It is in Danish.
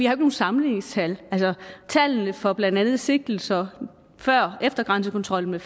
har nogen sammenligningstal tallene for blandt andet sigtelser før grænsekontrollen